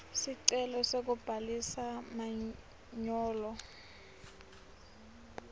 sicelo sekubhalisa manyolo